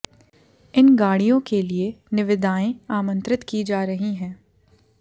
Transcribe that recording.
इन गाडिय़ों के लिए निविदाएं आमंत्रित की जा रही हैं